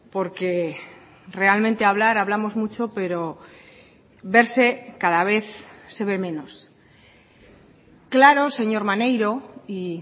porque realmente hablar hablamos mucho pero verse cada vez se ve menos claro señor maneiro y